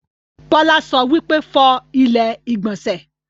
Bọ́lá sọ wípé, 'Fọ ilẹ́ ìgbọ̀nsẹ̀'